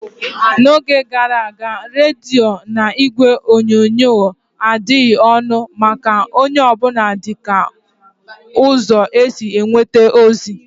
N'oge gara aga, rediyo na igwe onyonyo adịghị ọnụ maka onye ọ bụla dịka ụzọ esi enweta ozi.